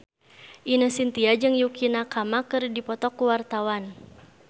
Ine Shintya jeung Yukie Nakama keur dipoto ku wartawan